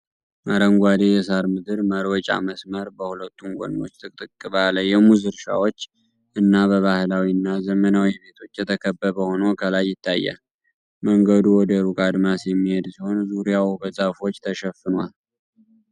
አረንጓዴ የሳር ምድር መሮጫ መስመር በሁለቱም ጎኖች ጥቅጥቅ ባሉ የሙዝ እርሻዎች እና በባህላዊ እና ዘመናዊ ቤቶች የተከበበ ሆኖ ከላይ ይታያል። መንገዱ ወደ ሩቅ አድማስ የሚሄድ ሲሆን፣ ዙሪያው በዛፎች ተሸፍኗል።